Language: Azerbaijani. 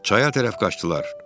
Çaya tərəf qaçdılar.